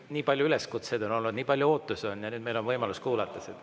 Nii palju üleskutseid on olnud, nii palju ootusi on ja nüüd meil on võimalus kuulata seda.